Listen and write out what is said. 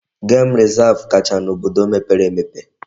Gem resav kacha n'obodo mepere emepe.